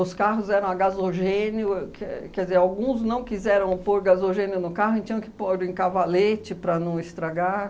carros eram a gasogênio, quer quer dizer, alguns não quiseram pôr gasogênio no carro e tinham que pôr em cavalete para não estragar.